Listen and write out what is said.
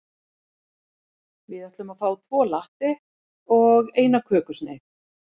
Við ætlum að fá tvo latte og eina kökusneið.